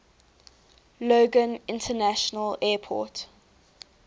logan international airport